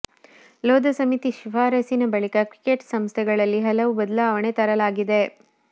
ಲೋಧ ಸಮಿತಿ ಶಿಫಾರಸಿನ ಬಳಿಕ ಕ್ರಿಕೆಟ್ ಸಂಸ್ಥೆಗಳಲ್ಲಿ ಹಲವು ಬದಲಾವಣೆ ತರಲಾಗಿದೆ